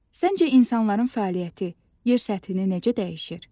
Səncə insanların fəaliyyəti yer səthini necə dəyişir?